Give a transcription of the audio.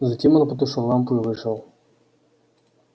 затем он потушил лампу и вышел